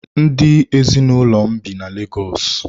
Ndị ezinụlọ m bi na Lagos.